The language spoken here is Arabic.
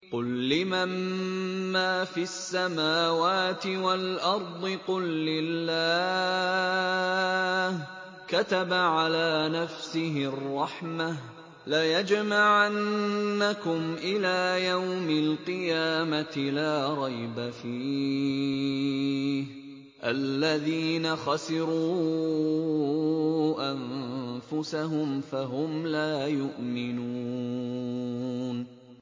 قُل لِّمَن مَّا فِي السَّمَاوَاتِ وَالْأَرْضِ ۖ قُل لِّلَّهِ ۚ كَتَبَ عَلَىٰ نَفْسِهِ الرَّحْمَةَ ۚ لَيَجْمَعَنَّكُمْ إِلَىٰ يَوْمِ الْقِيَامَةِ لَا رَيْبَ فِيهِ ۚ الَّذِينَ خَسِرُوا أَنفُسَهُمْ فَهُمْ لَا يُؤْمِنُونَ